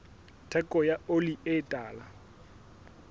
theko ya oli e tala